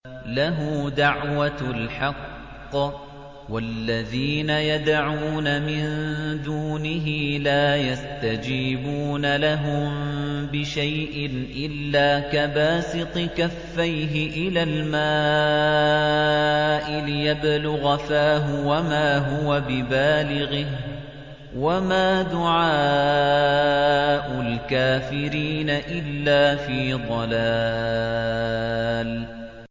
لَهُ دَعْوَةُ الْحَقِّ ۖ وَالَّذِينَ يَدْعُونَ مِن دُونِهِ لَا يَسْتَجِيبُونَ لَهُم بِشَيْءٍ إِلَّا كَبَاسِطِ كَفَّيْهِ إِلَى الْمَاءِ لِيَبْلُغَ فَاهُ وَمَا هُوَ بِبَالِغِهِ ۚ وَمَا دُعَاءُ الْكَافِرِينَ إِلَّا فِي ضَلَالٍ